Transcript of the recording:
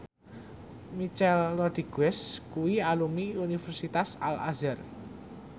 Michelle Rodriguez kuwi alumni Universitas Al Azhar